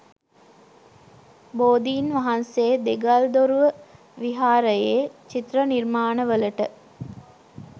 බෝධින් වහන්සේ දෙගල්දොරුව විහාරයේ චිත්‍ර නිර්මාණවලට